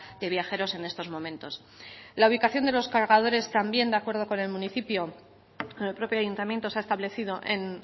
de viajeros en estos momentos la ubicación de los cargadores también de acuerdo con el municipio el propio ayuntamiento se ha establecido en